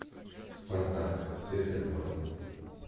спартак серия два